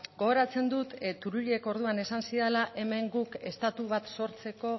gogoratzen dut turullek orduan esan zidala hemen guk estatu bat sortzeko